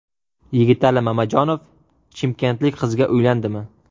Yigitali Mamajonov chimkentlik qizga uylandimi?